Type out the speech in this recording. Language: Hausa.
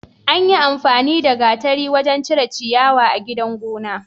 Anyin amfani da gatari wajan cire ciyawa a gidan gona